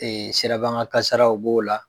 siraban ka kasaraw b'o la.